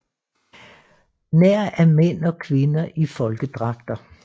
Nær af mænd og kvinder i folkedragter